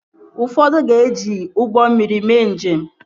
Ụfọdụ ka ga-eji ụgbọ mmiri mee njem